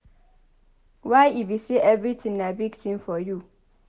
Why e be say everything na big thing for you?